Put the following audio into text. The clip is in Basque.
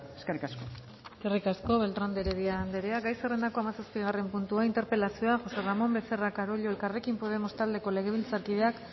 eskerrik asko eskerrik asko beltrán de heredia andrea gai zerrendako hamazazpigarren puntua interpelazio jose ramón becerra carollo elkarrekin podemos taldeko legebiltzarkideak